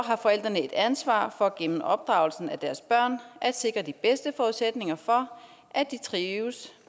har forældrene et ansvar for gennem opdragelsen af deres børn at sikre de bedste forudsætninger for at de trives